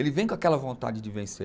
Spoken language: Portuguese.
Ele vem com aquela vontade de vencer.